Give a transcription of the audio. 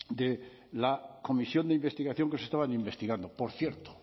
de la comisión de investigación que se estaba investigando por cierto